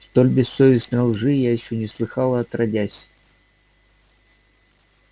столь бессовестной лжи я ещё не слыхала отродясь